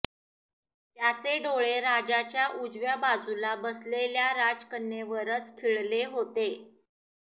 त्याचे डोळे राजाच्या उजव्या बाजूला बसलेल्या राजकन्येवरच खिळले होते